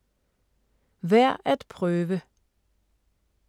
Værd at prøve